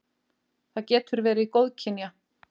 Það getur verið góðkynja.